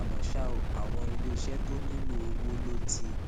àmó ṣá o àwọn iléeṣé tó nílò owó ló ti